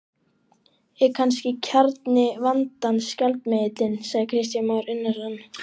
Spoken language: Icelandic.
Kristján Már Unnarsson: Er kannski kjarni vandans gjaldmiðillinn?